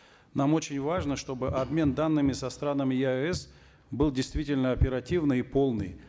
нам очень важно чтобы обмен данными со странами еаэс был действительно оперативный и полный